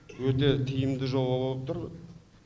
өте тиімді жоба болып тұр